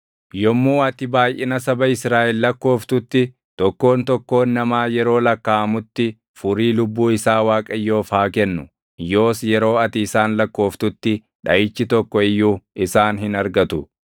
“Yommuu ati baayʼina saba Israaʼel lakkooftutti tokkoon tokkoon namaa yeroo lakkaaʼamutti furii lubbuu isaa Waaqayyoof haa kennu. Yoos yeroo ati isaan lakkooftutti dhaʼichi tokko iyyuu isaan hin argatu.